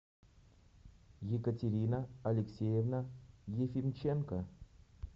екатерина алексеевна ефимченко